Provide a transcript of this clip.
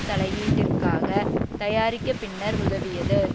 தலையீட்டிற்காக தயாரிக்க பின்னர் உதவியது